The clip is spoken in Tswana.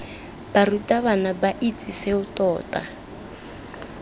barutabana ba itse seo tota